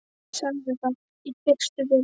Sagði það í fyrstu við Lenu.